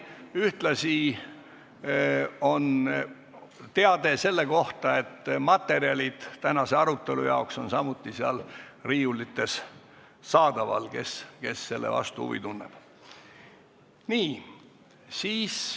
Ühtlasi on teade selle kohta, et tänase arutelu materjalid on riiulites saadaval, kui keegi nende vastu huvi tunneb.